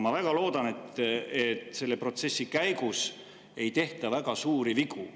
Ma väga loodan, et selle protsessi käigus ei tehta väga suuri vigu.